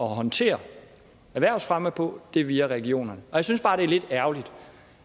håndtere erhvervsfremme på er via regionerne jeg synes bare det er lidt ærgerligt